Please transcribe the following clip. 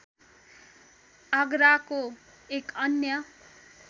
आगराको एक अन्य